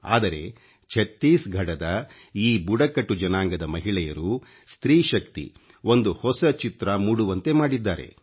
ಆದರೆ ಛತ್ತೀಸ್ಘಡದ ಈ ಬುಡಕಟ್ಟು ಜನಾಂಗದ ಮಹಿಳೆಯರು ಸ್ತ್ರೀ ಶಕ್ತಿ ಒಂದು ಹೊಸ ಚಿತ್ರ ಮೂಡುವಂತೆ ಮಾಡಿದ್ದಾರೆ